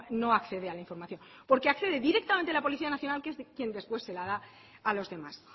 no accede a la información porque accede directamente la policía nacional que es de quien después se la da a los demás